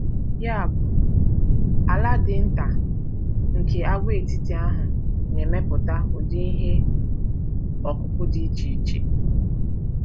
Yabụ, ala dị nta nke àgwàetiti ahụ na-emepụta ụdị ihe ọkụkụ dị iche iche.